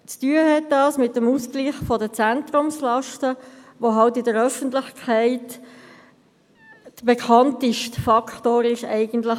Dies hat mit dem Ausgleich der Zentrumslasten zu tun, welcher in der Öffentlichkeit eigentlich der bekannteste Faktor dieses FILAGs ist.